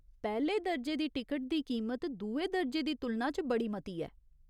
पैह्‌ले दर्जे दी टिकट दी कीमत दुए दर्जे दी तुलना च बड़ी मती ऐ।